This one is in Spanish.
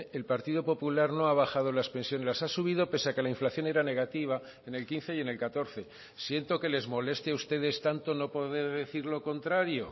el partido popular no ha bajado las pensiones las ha subido pese a que la inflación era negativa en el quince y en el catorce siento que les moleste a ustedes tanto no poder decir lo contrario